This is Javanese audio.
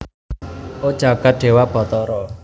O jagat dewa batara